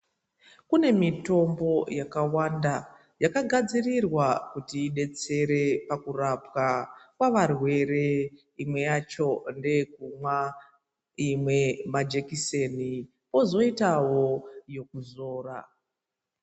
Kune mitombo yakawanda yakagadzirirwa kuti idetsere pakurapwa kwavarwere .Imwe yacho ndeyekumwa , imwe majekiseni kwozoitawo yekuzora .